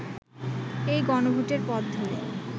এই গণভোটের পথ ধরে